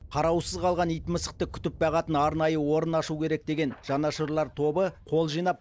қараусыз қалған ит мысықты күтіп бағатын арнайы орын ашу керек деген жанашырлар тобы қол жинап